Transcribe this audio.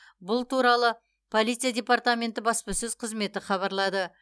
бұл туралы полиция департаменті баспасөз қызметі хабарлады